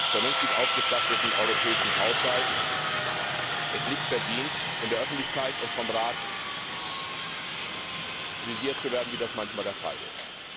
vernünftig ausgestatteten europäischen Haushalt nicht verdient, in der Öffentlichkeit und vom Rat kritisiert zu werden, wie das manchmal der Fall ist.